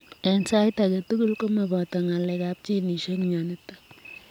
Eng sait agee tugul komapataa ngalek ap ginisiek mionitok